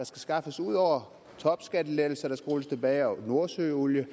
skaffes ud over topskattelettelser der skal rulles tilbage og nordsøolien